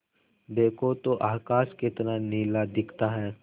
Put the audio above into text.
देखो तो आकाश कितना नीला दिखता है